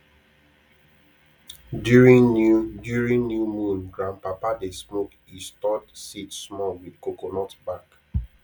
during new during new moon grandpapa dey smoke e stored seed small with coconut back